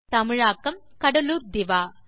தமிழாக்கம் கடலூர் திவா